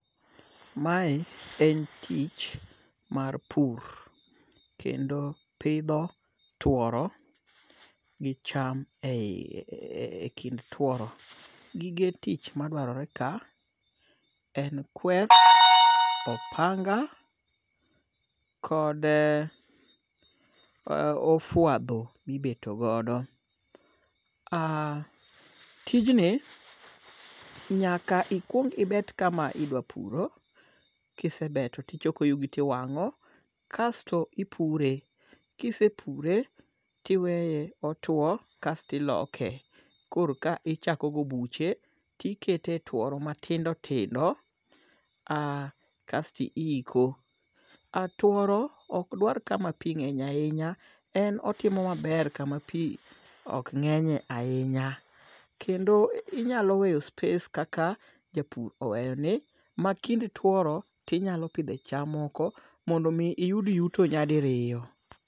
Mae en tich mar pur, kendo pidho tworo gi cham e kind tworo. Gige tich ma dwarore ka en kwer, opanga kod ofuadho mibeto godo. Tijni nyaka ikuong ibet kama idwa puro, kisebeto tichoko yugi tiwang'o. Kasto ipure. Kisepure tiweye otwo kasto iloke. Koro ka ichako gi obuche tikete tworo matindo tindo, kasto iiko. Tworo okdwar kama pii ng'eny ahinya. En otimo maber kama pii ok ng'enye ahinya. Kendo inyalo weyo space kaka japur oweyo ni, ma kind tworo tinyalo pidhe cham moko mondo mi iyud yuto nyadiriyo.